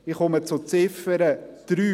Ich komme zur Ziffer 3.